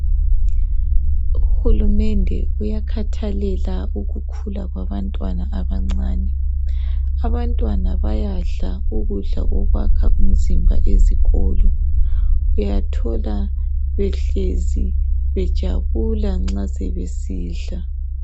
Uhulumende uyakhathalela ukukhula kwabantwana abancane. Abantwana bayadla ukudla okwakha umzimba ezikolo uyathola behlezi bejabula nxa sebesidla.